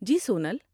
جی، Sonal.